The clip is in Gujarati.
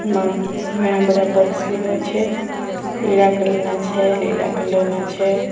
આમાં ઘણા બધા પક્ષીઓ છે પીળા કલરના છે લીલા કલરના છે.